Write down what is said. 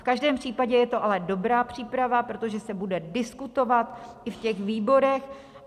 V každém případě je to ale dobrá příprava, protože se bude diskutovat i v těch výborech.